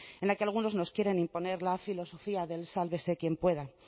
en la que algunos nos quieren imponer la filosofía del sálvese quien pueda